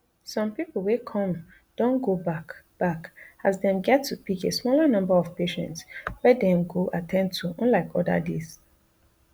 some pipo wey come don go back back as dem get to pick a smaller number of patients wey dem go at ten d to unlike oda days